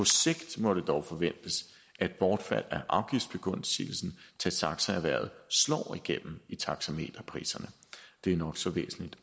sigt må det dog forventes at bortfald af afgiftsbegunstigelsen til taxaerhvervet slår igennem i taxameterpriserne det er nok så væsentligt